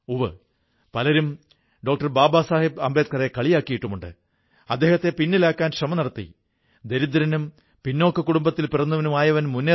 ഈ കർഷകർക്ക് അതുൽ പാടീദാറുടെഇപ്ലാറ്റ്ഫോം ഫാം കാർഡ് വഴിയായി വളം വിത്ത് കീടനാശിനി ഫംഗസ് നാശിനി തുടങ്ങിയ കൃഷി സാധനങ്ങളുടെ ഹോം ഡെലിവറിക്കുള്ള ഓർഡർ ലഭിക്കുന്നു